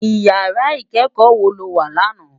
Iyàrá ikèékò wó ló wá làná?